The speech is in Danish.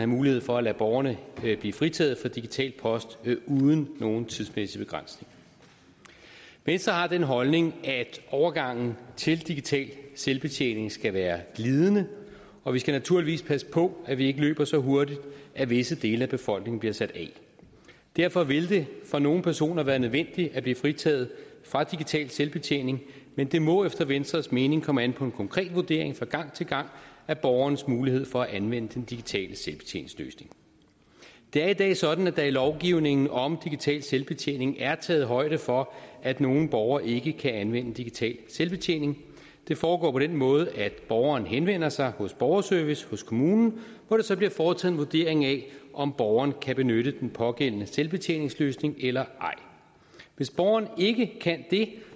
mulighed for at lade borgerne blive fritaget for digital post uden nogen tidsmæssig begrænsning venstre har den holdning at overgangen til digital selvbetjening skal være glidende og vi skal naturligvis passe på at vi ikke løber så hurtigt at visse dele af befolkningen bliver sat af derfor vil det for nogle personer være nødvendigt at blive fritaget fra digital selvbetjening men det må efter venstres mening komme an på en konkret vurdering fra gang til gang af borgerens mulighed for at anvende den digitale selvbetjeningsløsning det er i dag sådan at der i lovgivningen om digital selvbetjening er taget højde for at nogle borgere ikke kan anvende digital selvbetjening det foregår på den måde at borgeren henvender sig i borgerservice i kommunen hvor der så bliver foretaget en vurdering af om borgeren kan benytte den pågældende selvbetjeningsløsning eller ej hvis borgeren ikke kan det